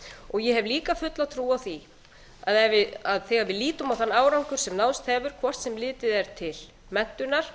ég hef líka fulla trú á því að þegar við lítum á þann árangur sem náðst hefur hvort sem litið er til menntunar